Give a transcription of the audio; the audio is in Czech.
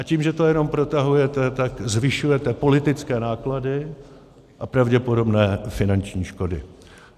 A tím, že to jenom protahujete, tak zvyšujete politické náklady a pravděpodobné finanční škody.